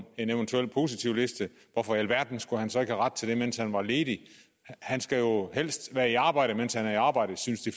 en eventuel positivliste hvorfor i alverden skulle han så ikke have ret til det mens han var ledig han skal jo helst være i arbejde mens han er i arbejde synes de